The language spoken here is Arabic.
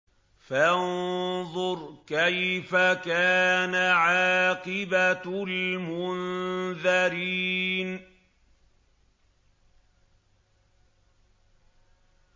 فَانظُرْ كَيْفَ كَانَ عَاقِبَةُ الْمُنذَرِينَ